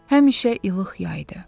Həmişə ilıq yay idi.